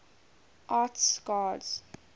arts gods